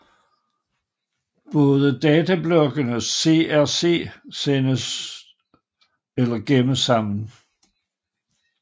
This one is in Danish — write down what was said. Både datablokken og CRC sendes eller gemmes sammen